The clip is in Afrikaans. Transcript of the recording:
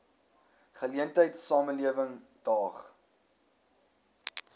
geleentheid samelewing daag